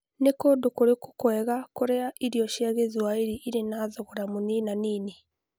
Nĩ kũndũ kũrĩkũ kwega kũrĩa irio cia Gĩthwaĩri irĩ thogora mũnina-nini